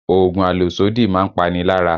Oògùn àlòsódì máa ń pani lára